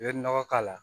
I bɛ nɔgɔ k'a la